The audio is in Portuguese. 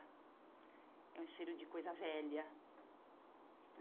É um cheiro de coisa velha.